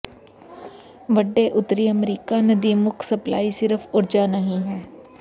ਵੱਡੇ ਉੱਤਰੀ ਅਮਰੀਕਾ ਨਦੀ ਮੁੱਖ ਸਪਲਾਈ ਸਿਰਫ ਊਰਜਾ ਨਹੀ ਹੈ